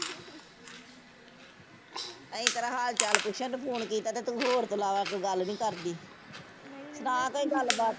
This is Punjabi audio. ਅਸੀਂ ਤੇਰਾ ਹਾਲ ਚਾਲ ਪੁੱਛਣ ਨੂੰ ਫੋਨ ਕੀਤਾ ਤੇ ਤੂੰ ਹੋਰ ਤੋਂ ਇਲਾਵਾ ਗੱਲ ਨੀ ਕਰਦੀ ਨਾ ਕੋਈ ਗੱਲ ਬਾਤ